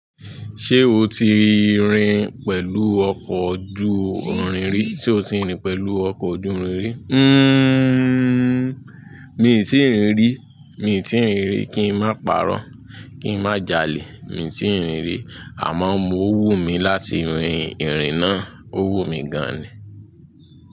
Ṣé o ti rin pẹ̀lú ọkọ̀ ojú irin rí? Ṣé o ti rin pẹ̀lú ọkọ̀ ojú irin rí? Hmm, mi ò tíì rin rí. Mi ò tíì rin rí. Kí n má parọ́, kí n má jalè. Mi òǹ tíì rin rí. Àmọ́ mo wù mí láti rin ìrìn náà. Ó wùn mí gan ni.